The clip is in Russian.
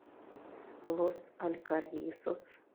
лос алькаррисос